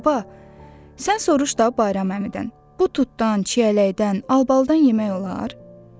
Baba, sən soruş da Bayram əmidən, bu tutdan, çiyələkdən, albalıdan yemək olar?